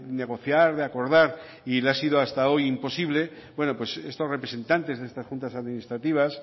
negociar de acordar y le ha sido hasta hoy imposible pues estos representantes de estas juntas administrativas